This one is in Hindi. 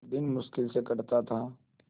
दिन मुश्किल से कटता था